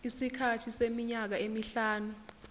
isikhathi seminyaka emihlanu